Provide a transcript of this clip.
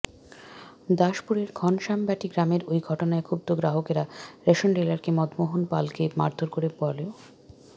দাসপুরের ঘনশ্যামবাটি গ্রামের ওই ঘটনায় ক্ষুব্ধ গ্রাহকেরা রেশন ডিলার মদনমোহন পালকে মারধর কর বলেও